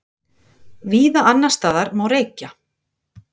Víða annarsstaðar má reykja